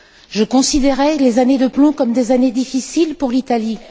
Je considère les années de plomb comme des années difficiles pour l'Italie!